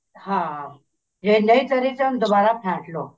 ਹਾਂ ਜੇ ਨਹੀਂ ਉਹਨੂੰ ਦੁਬਾਰਾ ਫੇੰਟ ਲੋ